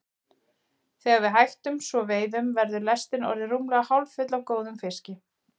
Þegar við hættum svo veiðunum var lestin orðin rúmlega hálffull af góðum fiski.